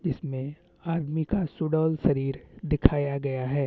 इसमें आदमी का सुडौल शरीर दिखाया गया है।